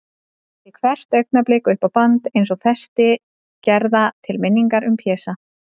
Þræddi hvert augnablik upp á band, eins og festi gerða til minningar um Pésa.